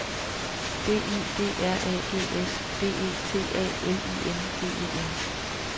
B I D R A G S B E T A L I N G E N